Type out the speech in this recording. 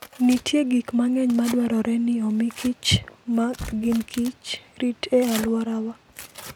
Nitie gik mang'eny madwarore ni omi kichma gin kich, rit e alworawa.